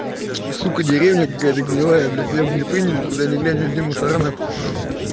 сука деревня какая-то гнилая блядь меня бы не приняли куда ни глянь везде мусора нахуй